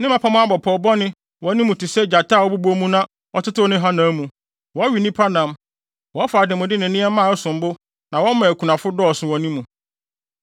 Ne mmapɔmma abɔ pɔw bɔne wɔ ne mu te sɛ gyata a ɔbobɔ mu na ɔtetew ne hanam mu, wɔwe nnipa nam, wɔfa ademude ne nneɛma a ɛsom bo na wɔma akunafo dɔɔso wɔ ne mu.